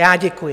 Já děkuji.